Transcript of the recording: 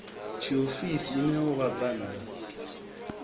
tshiofisi i ṋeaho vhabvann ḓa